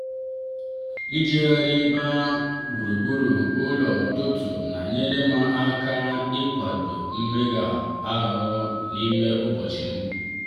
ijegharị ba gburugburu ụlọ n'ụtụtụ na-enyere m aka ịkwado mmega ahụ n'ime ụbọchịm.